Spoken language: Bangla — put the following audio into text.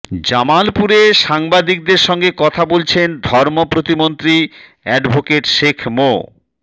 জামালপুরে সাংবাদিকদের সঙ্গে কথা বলছেন ধর্ম প্রতিমন্ত্রী অ্যাডভোকেট শেখ মো